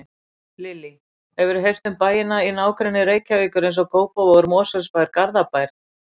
Lillý: Hefurðu heyrt um bæina í nágrenni Reykjavíkur, eins og Kópavogur, Mosfellsbær, Garðabær?